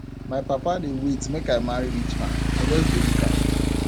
my papa dey wait make i marry rich man i just dey look am